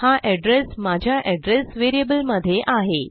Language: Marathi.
हा एड्रेस माझ्या एड्रेस व्हेरिएबलमधे आहे